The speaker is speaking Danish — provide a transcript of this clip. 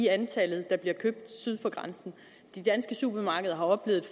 antal der bliver købt syd for grænsen de danske supermarkeder har oplevet